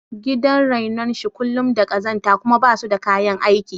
Gidan renon shi kullum da ƙazanta kuma basu da kayan aiki